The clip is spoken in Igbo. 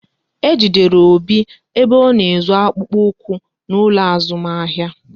Ejidere Obi ebe ọ na-ezu akpụkpọ ụkwụ n'ụlọ azụmahịa